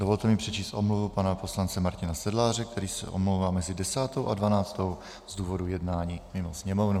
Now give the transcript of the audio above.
Dovolte mi přečíst omluvu pana poslance Martina Sedláře, který se omlouvá mezi 10. a 12. z důvodu jednání mimo Sněmovnu.